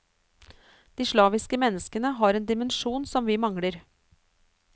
De slaviske menneskene har en dimensjon som vi mangler.